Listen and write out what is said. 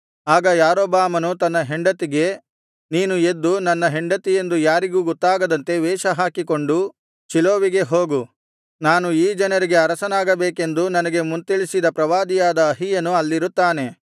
ಆಗ ಯಾರೊಬ್ಬಾಮನು ತನ್ನ ಹೆಂಡತಿಗೆ ನೀನು ಎದ್ದು ನನ್ನ ಹೆಂಡತಿಯೆಂದು ಯಾರಿಗೂ ಗೊತ್ತಾಗದಂತೆ ವೇಷಹಾಕಿಕೊಂಡು ಶೀಲೋವಿಗೆ ಹೋಗು ನಾನು ಈ ಜನರಿಗೆ ಅರಸನಾಗಬೇಕೆಂದು ನನಗೆ ಮುಂತಿಳಿಸಿದ ಪ್ರವಾದಿಯಾದ ಅಹೀಯನು ಅಲ್ಲಿರುತ್ತಾನೆ